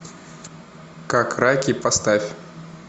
как раки поставь